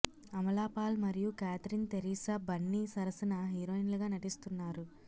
అమలా పాల్ మరియు కేథరిన్ థెరిసా బన్ని సరసన హీరోయిన్లుగా నటిస్తున్నారు